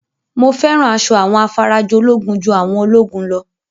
Mo fẹ́ràn asọ àwọn afarajolúgun ju àwọn ológun lọ